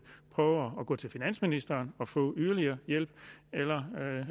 prøve at gå til finansministeren og få yderligere hjælp eller